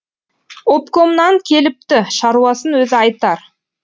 обкомнан келіпті шаруасын өзі айтар